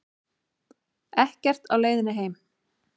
Ekkert á leiðinni heim